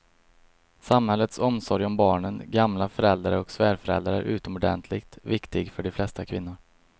Samhällets omsorg om barnen, gamla föräldrar och svärföräldrar är utomordentligt viktig för de flesta kvinnor.